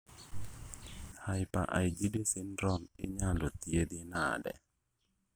Hyper IgD syndrome inyalo thiedhi nade